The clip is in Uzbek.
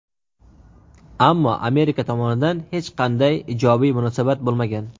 ammo Amerika tomonidan hech qanday ijobiy munosabat bo‘lmagan.